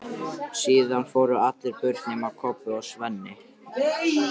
Síðan fóru allir burt nema Kobbi og Svenni.